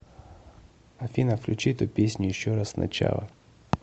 афина включи эту песню еще раз сначала